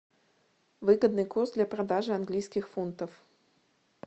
выгодный курс для продажи английских фунтов